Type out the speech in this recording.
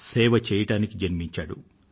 సేవ చేయటానికి జన్మించాడు